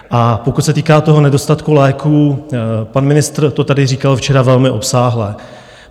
A pokud se týká toho nedostatku léků, pan ministr to tady říkal včera velmi obsáhle.